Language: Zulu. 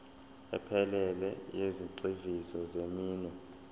ephelele yezigxivizo zeminwe